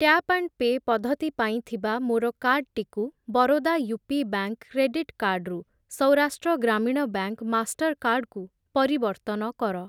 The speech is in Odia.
ଟ୍ୟାପ୍ ଆଣ୍ଡ୍ ପେ' ପଦ୍ଧତି ପାଇଁ ଥିବା ମୋର କାର୍ଡ୍‌ଟିକୁ ବରୋଦା ୟୁପି ବ୍ୟାଙ୍କ୍‌ କ୍ରେଡିଟ୍ କାର୍ଡ଼୍‌ରୁ ସୌରାଷ୍ଟ୍ର ଗ୍ରାମୀଣ ବ୍ୟାଙ୍କ୍‌ ମାଷ୍ଟର୍‌କାର୍ଡ଼୍ କୁ ପରିବର୍ତ୍ତନ କର।